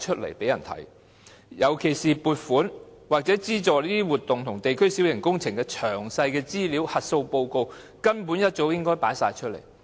在區議會方面，尤其是撥款或資助這些活動和地區小型工程的詳細資料和核數報告，根本早應公開。